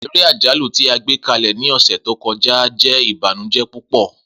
Ere ajalu ti a gbekalẹ ni ọsẹ to kọja jẹ ibanujẹ pupọ.